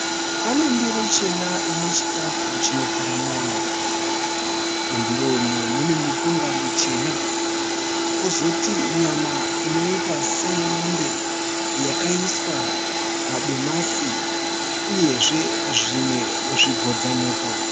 Pane ndiro chena ine chikafu chinotora moyo. Mundiro umu mune mupunga muchena, kozoti nyama inoita seyemombe yakaiswa madomasi uyezve zvimwe zvigodza muto.